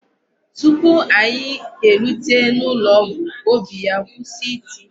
Tupu anyị erute n'ụlọọgwụ, óbì ya kwụsị iti.